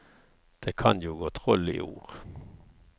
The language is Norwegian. Det kan jo gå troll i ord.